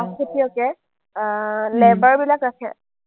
খেতিয়কে আহ labor বিলাক ৰাখে